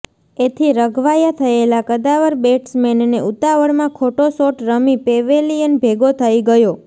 એથી રઘવાયા થયેલા કદાવર બેટ્સમેનને ઉતાવળમાં ખોટો શોટ રમી પેવેલિયન ભેગો થઈ ગયો